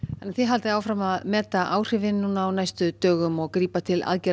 þið haldið áfram að meta áhrifin á næstu dögum og grípa til aðgerða